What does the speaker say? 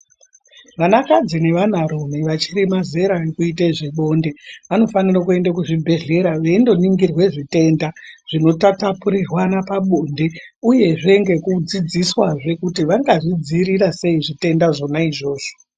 Vanakadzi nevanarume vachirema zera rekuite zvebonde. Vanofanire kuende kuzvibhedhlera veindoningirwe zvitenda zvinotapurirwana pabonde, uyezve ngekudzidziswazve kuti vangazvidzivirira sei zvitenda zvonaizvozvo.